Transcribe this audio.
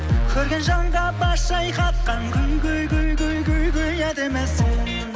көрген жанға бас шайқатқан әдемісің